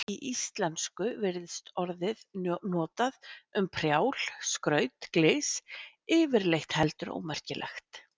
Í íslensku virðist orðið notað um prjál, skraut, glys, yfirleitt heldur ómerkilegt.